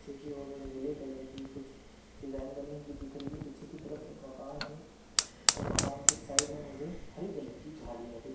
पीछे की और मुझे नीले कलर की कुछ डिज़ाइन बनी हुई दिख रही है पीछे की तरफ एक मकान है और मकान के साइड में मुझे हरी कलर की झाडिया भी दी--